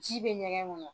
Ji bɛ ɲɛgɛn kɔnɔ